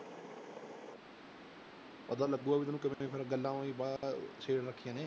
ਪਤਾ ਲੱਗੇਗਾ ਵੀ ਤੈਨੂੰ ਗੱਲਾਂ ਰੱਖੀਆਂ ਨੇ